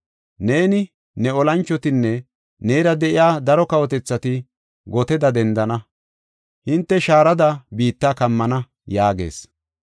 Neeni, ne olanchotinne neera de7iya daro kawotethati goteda dendana; hinte shaarada biitta kammana” yaagees.